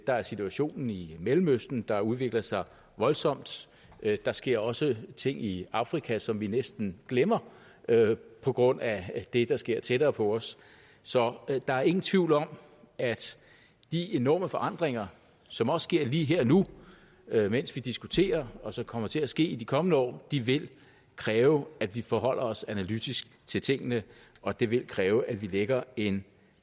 der er situationen i mellemøsten der udvikler sig voldsomt der sker også ting i afrika som vi næsten glemmer på grund af det der sker tættere på os så der er ingen tvivl om at de enorme forandringer som også sker lige her og nu mens vi diskuterer og som kommer til at ske i de kommende år vil kræve at vi forholder os analytisk til tingene og det vil kræve at vi lægger en